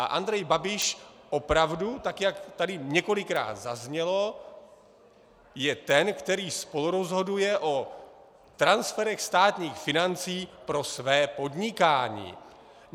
A Andrej Babiš opravdu, tak jak tady několikrát zaznělo, je ten, který spolurozhoduje o transferech státních financí pro své podnikání.